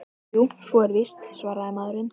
Jú, svo er víst- svaraði maðurinn.